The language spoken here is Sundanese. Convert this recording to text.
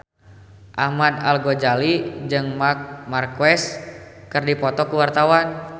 Ahmad Al-Ghazali jeung Marc Marquez keur dipoto ku wartawan